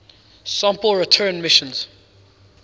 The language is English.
sample return missions